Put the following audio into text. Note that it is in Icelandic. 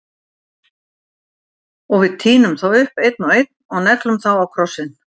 Og við tínum þá upp, einn og einn- og neglum þá á krossinn.